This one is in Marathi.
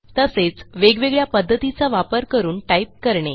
तसेच वेगवेगळ्या पध्दतीचा वापर करून टाईप करणे